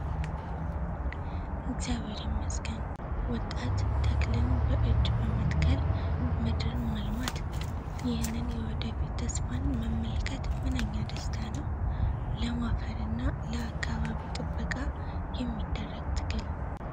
እግዚአብሔር ይመስገን! ወጣት ተክልን በእጅ በመትከል ምድርን ማልማት! ይህንን የወደፊት ተስፋን መመልከት ምንኛ ደስታ ነው! ለም አፈርና ለአካባቢ ጥበቃ የሚደረግ ትግል!